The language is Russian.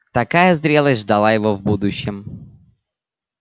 такая зрелость ждала его в будущем